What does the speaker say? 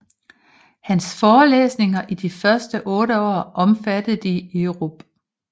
Hans Forelæsninger i de første 8 år omfattede de europ